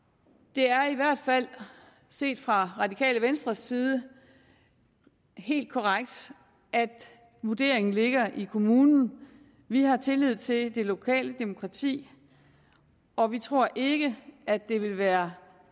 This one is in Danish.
det er i hvert fald set fra radikale venstres side helt korrekt at vurderingen ligger i kommunen vi har tillid til det lokale demokrati og vi tror ikke at det vil være